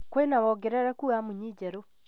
Kwĩna woongerereku wa munyi njerũ